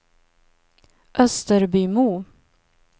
Österbymo